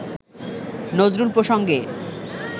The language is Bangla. নজরুল প্রসঙ্গে